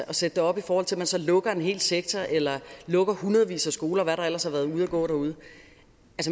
at sætte det op i forhold til at man så lukker en hel sektor eller lukker hundredvis af skoler der ellers har været ude at gå derude